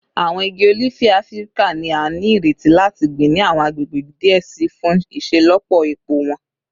Awọn igi olifi Afirika ni a nireti lati gbin ni awọn agbegbe diẹ sii fun iṣelọpọ epo wọn